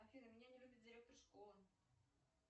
афина меня не любит директор школы